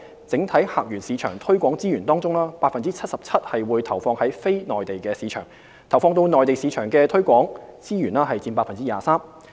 整體客源市場推廣資源中 ，77% 會投放至非內地市場，投放到內地市場的推廣資源佔 23%。